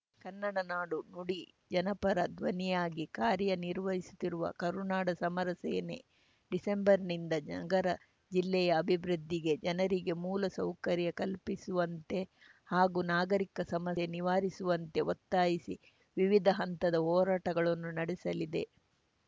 ಕನ್ನಡ ನಾಡು ನುಡಿ ಜನಪರ ಧ್ವನಿಯಾಗಿ ಕಾರ್ಯ ನಿರ್ವಹಿಸುತ್ತಿರುವ ಕರುನಾಡ ಸಮರ ಸೇನೆ ಡಿಸೆಂಬರ್‌ನಿಂದ ನಗರ ಜಿಲ್ಲೆಯ ಅಭಿವೃದ್ಧಿಗೆ ಜನರಿಗೆ ಮೂಲ ಸೌಕರ್ಯ ಕಲ್ಪಿಸುವಂತೆ ಹಾಗೂ ನಾಗರಿಕ ಸಮಸ್ಯೆ ನಿವಾರಿಸುವಂತೆ ಒತ್ತಾಯಿಸಿ ವಿವಿಧ ಹಂತದ ಹೋರಾಟಗಳನ್ನು ನಡೆಸಲಿದೆ